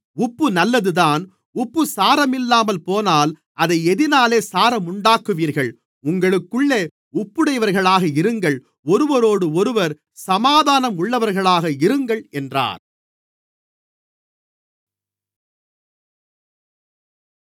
உப்பு நல்லதுதான் உப்பு சாரமில்லாமல் போனால் அதை எதினாலே சாரமுண்டாக்குவீர்கள் உங்களுக்குள்ளே உப்புடையவர்களாக இருங்கள் ஒருவரோடொருவர் சமாதானம் உள்ளவர்களாக இருங்கள் என்றார்